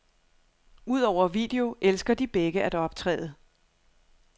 Udover video elsker de begge at optræde.